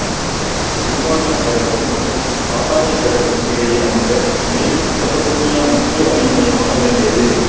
உதுமானியப் பேரரசு மற்றும் சசானியப் பேரரசுகளுக்கு இடையே அமைந்த மேல் மெசொப்பத்தோமியா முக்கிய வணிக மையமாக விளங்கியது